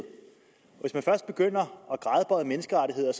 hvis man først begynder at gradbøje menneskerettigheder